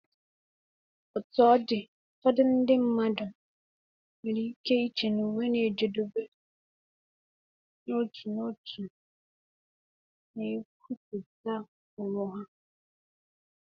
Otú ọ dị, ụfọdụ ndị mmadụ nwere ike iche na uwe na-ejedebe n'otu n'otu na nkwupụta onwe ha.